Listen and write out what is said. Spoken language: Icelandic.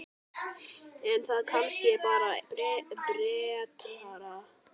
Er það kannski bara betra?